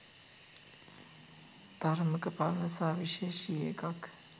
තරමක පරණ සහ විශේෂී එකක්.